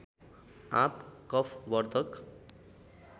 आँप कफवर्धक